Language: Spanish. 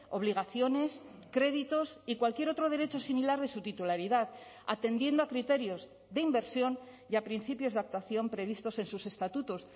obligaciones créditos y cualquier otro derecho similar de su titularidad atendiendo a criterios de inversión y a principios de actuación previstos en sus estatutos